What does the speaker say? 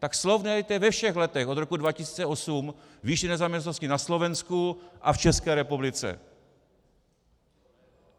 Tak srovnejte ve všech letech od roku 2008 výši nezaměstnanosti na Slovensku a v České republice.